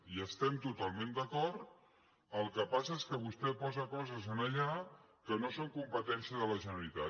hi estem totalment d’acord el que passa és que vostè posa coses allà que no són competència de la generalitat